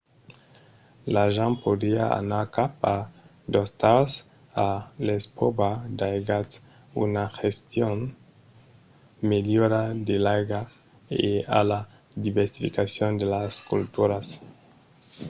l'argent podriá anar cap a d'ostals a l'espròva d'aigats a una gestion melhora de l'aiga e a la diversificacion de las culturas